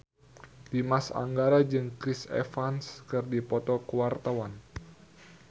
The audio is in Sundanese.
Dimas Anggara jeung Chris Evans keur dipoto ku wartawan